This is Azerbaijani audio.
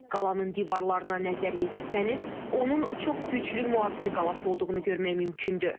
Qalanın divarlarına nəzər yetirsəniz, onun çox güclü mühafizə qalası olduğunu görmək mümkündür.